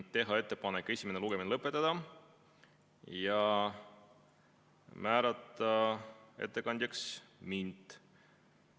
Teha ettepanek esimene lugemine lõpetada ja määrata ettekandjaks mind.